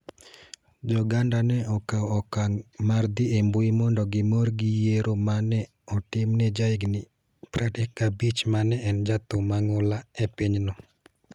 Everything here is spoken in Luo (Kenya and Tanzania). Jo-Ganda ne okawo okang ' mar dhi e mbui mondo gimor gi yiero ma ne otim ne jahigini 35 ma ne en jathum mang'ula e pinyno.